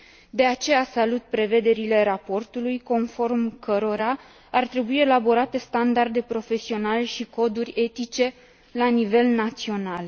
De aceea salut prevederile raportului, conform cărora ar trebui elaborate standarde profesionale și coduri etice la nivel național.